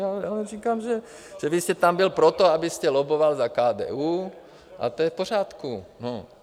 Já vám říkám, že vy jste tam byl proto, abyste lobboval za KDU, a to je v pořádku, no.